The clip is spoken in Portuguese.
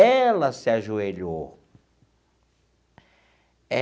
Ela se ajoelhou.